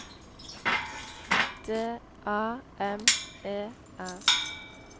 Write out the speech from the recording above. D A M E R